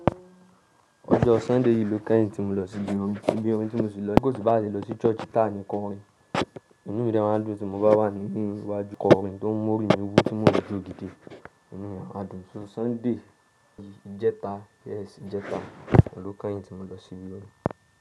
Ọjọ́ Sunday yìí lọ kẹ́yìn tí mo lọ sí ibi orin, ibi orin tí mo sì lọ. Ko si bá ṣe lọ sí church ta ni korin. Inú rẹ̀ máa dùn tí mo bá wà ní iwájú korin tó ń mú orin ní orí búú tí mo rí ju ògìdì. Inú rẹ̀ a dùn. So Sunday yìí, ìjẹta, yes ìjẹta ọdún kẹ́yìn tí mo lọ sí ibi orin.